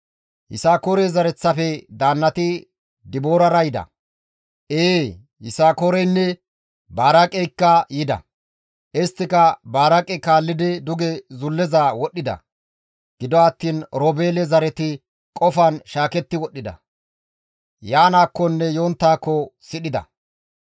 Yisakoore zereththafe daannati Diboorira yida; ee, Yisakooreynne Baraaqeykka yida; isttika Baraaqe kaallidi duge zulleza wodhdhida. Gido attiin Oroobeele zareti qofan shaaketti wodhdhida; Yaanaakkonne yonttaakko sidhida.